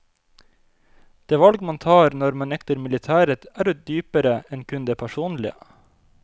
Det valg man tar når man nekter militæret er jo dypere enn kun det personlige.